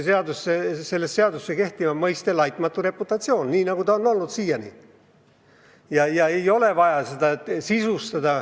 Sel juhul jääb seaduses kehtima mõiste "laitmatu reputatsioon" nii, nagu see on olnud siiani, ja see ei ole valesti sisustatud.